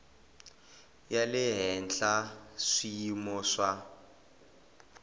ya le henhla swiyimo swa